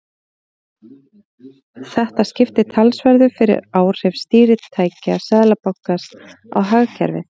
Þetta skiptir talsverðu fyrir áhrif stýritækja Seðlabankans á hagkerfið.